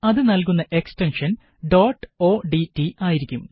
അത് നല്കുന്ന extension dot odt ആയിരിക്കും